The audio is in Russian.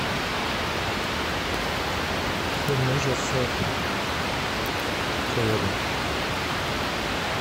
фильм ужасов кэрри